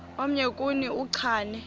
omnye kuni uchane